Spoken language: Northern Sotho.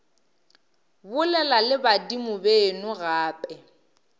bolela le badimo beno gape